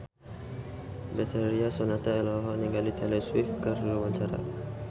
Betharia Sonata olohok ningali Taylor Swift keur diwawancara